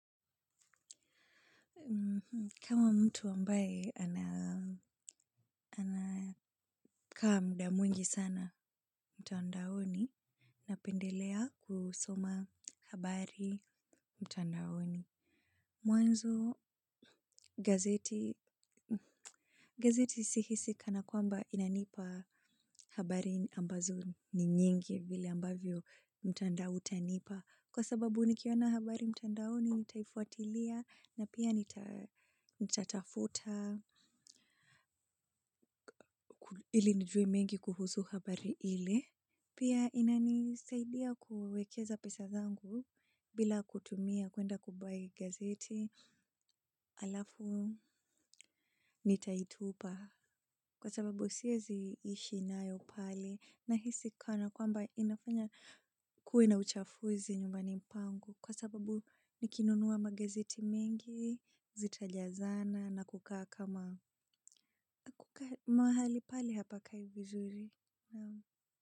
Kama mtu ambaye ana anakaa muda mwingi sana mtandaoni, napendelea kusoma habari mtandaoni. Mwanzo gazeti, gazeti sihisi kana kwamba inanipa habari ambazo ni nyingi vile ambavyo mtandao utanipa. Kwa sababu nikiona habari mtandaoni, nitaifuatilia na pia nitatafuta. Ili nijue mengi kuhusu habari ile. Pia inanisaidia kuwekeza pesa zangu bila kutumia kuenda kubuy gazeti alafu nitaitupa. Kwa sababu siwezi ishi nayo pale nahisi kana kwamba inafanya kuwe na uchafuzi nyumbani pangu. Kwa sababu nikinunua magazeti mengi, zitajazana na kukaa kama mahali pale hapakai vizuri.